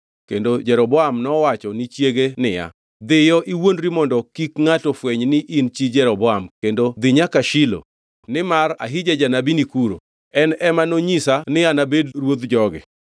kendo Jeroboam nowacho ni chiege niya, “Dhiyo, iwuondri mondo kik ngʼato fweny ni in chi Jeroboam, kendo dhi nyaka Shilo nimar Ahija janabi nikuro, en ema nonyisa ni anabed ruodh jogi.